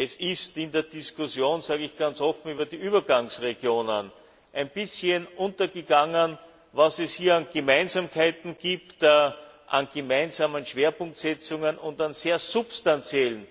Es ist in der Diskussion über die Übergangsregionen das sage ich ganz offen ein bisschen untergegangen, was es hier an Gemeinsamkeiten gibt, an gemeinsamen Schwerpunktsetzungen und an sehr substanziellen